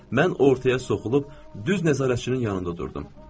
Mən ortaya soxulub, düz nəzarətçinin yanında durdum.